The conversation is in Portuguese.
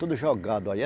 Tudo jogado aí. é